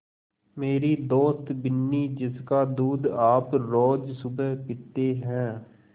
मेरी दोस्त बिन्नी जिसका दूध आप रोज़ सुबह पीते हैं